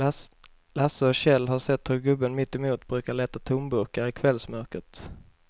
Lasse och Kjell har sett hur gubben mittemot brukar leta tomburkar i kvällsmörkret.